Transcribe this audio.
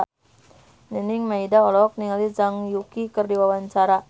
Nining Meida olohok ningali Zhang Yuqi keur diwawancara